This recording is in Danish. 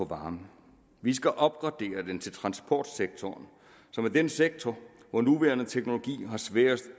varme vi skal opgradere den til transportsektoren som er den sektor hvor nuværende teknologier er sværest